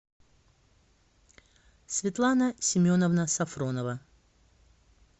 светлана семеновна сафронова